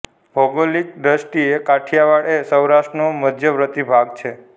ભૌગોલિક દૃષ્ટીએ કાઠિયાવાડ એ સૌરાષ્ટ્રનો મધ્યવર્તી ભાગ છે